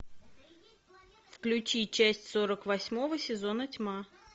включи часть сорок восьмого сезона тьма